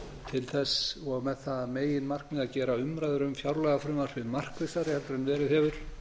til þess og með það að meginmarkmiði að gera umræður um fjárlagafrumvarpið markvissari en verið hefur